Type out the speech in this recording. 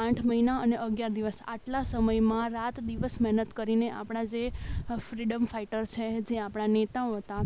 આઠ મહિના અને અગિયાર દિવસ આટલા સમયમાં રાત દિવસ મહેનત કરીને આપણા જે ફ્રીડમ ફાઈટર છે. આપણા નેતાઓ હતા